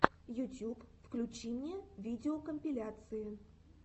ютьюб включи мне видеокомпиляции